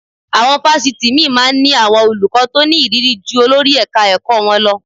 Àwọn fásitì míì máa ń ní àwọn olùkọ́ tó ní ìrírí ju olórí ẹ̀ka-ẹ̀kọ́ wọn lọ